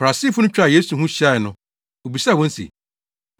Farisifo no twaa Yesu ho hyiae no, obisaa wɔn se,